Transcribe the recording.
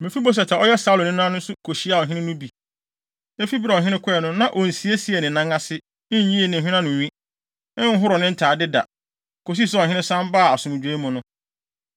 Mefiboset a ɔyɛ Saulo nena nso kohyiaa ɔhene no bi. Efi bere a ɔhene kɔe no, na onsiesiee ne nan ase, nyii ne hweneanonwi, nhoroo ne ntade da, kosii sɛ ɔhene san baa asomdwoe mu no.